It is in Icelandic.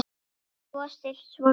Svo stillt, svo kyrrt.